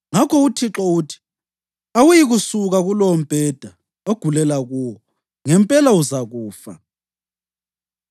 Ngakho uThixo uthi: ‘Awuyikusuka kulowombheda ogulela kuwo. Ngempela uzakufa!’ ”